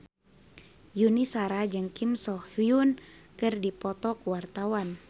Yuni Shara jeung Kim So Hyun keur dipoto ku wartawan